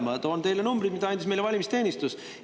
Ma toon teile numbrid, mille andis meile valimisteenistus.